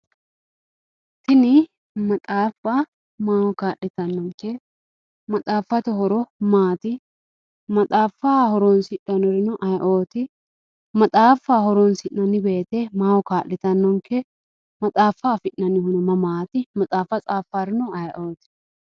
Tini maxaaffa maaho kaa'littanonke, maxaaffate horo maati, maxaaffa horonsidhanorino ayeeoti, maxaaffa horonsi'nanni woyte maaho kaa'littanonke, maxaafa afi'neemmohuno mamati, maxaaffa tsafanorino ayeeoti.